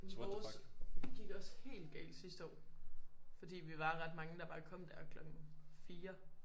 Jamen vores gik også helt galt sidste år fordi vi var ret mange der bare kom der klokken 4